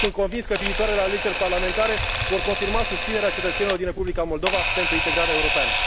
Sunt convins că viitoarele alegeri parlamentare vor confirma susținerea cetățenilor din Republica Moldova pentru integrarea europeană.